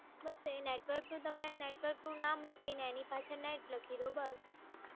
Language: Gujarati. બસ એ નેટવર્ક તો તમે એ નેટવર્કનું નામ લખીને એની પાછળ નેટ લખી દો. બસ.